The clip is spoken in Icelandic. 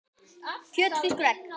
kjöt, fiskur og egg